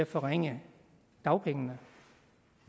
forringe dagpengene